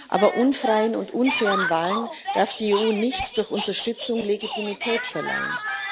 Aber unfreien und unfairen Wahlen darf die EU nicht durchch Unterstützung Legitimität verleihen.